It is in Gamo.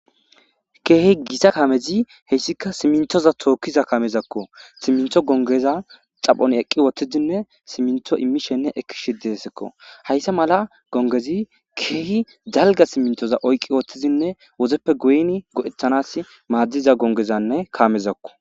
Keehi gita kamezi heessikka siminttoza tookiza kaamezakko simintto gongeza xaphon ekki wothtidinne simintto imishenne ekkishe deesikko hayssa mala gongezii keehi dalgga siminttoza oyqi uuttidinne wudeppe go'in go'ettanaw madizanne gongezanne kaamezakko